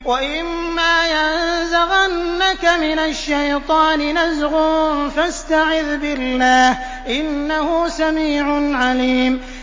وَإِمَّا يَنزَغَنَّكَ مِنَ الشَّيْطَانِ نَزْغٌ فَاسْتَعِذْ بِاللَّهِ ۚ إِنَّهُ سَمِيعٌ عَلِيمٌ